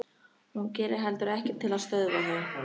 Hún gerir heldur ekkert til að stöðva þau.